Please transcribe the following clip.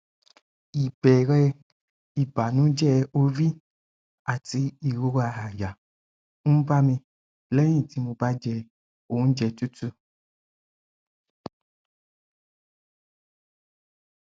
ìbéèrè ìbànújẹ orí àti ìrora àyà ń bá mi lẹyìn tí mo bá jẹ oúnjẹ tútù